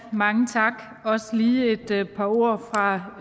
mange tak også lige et par ord fra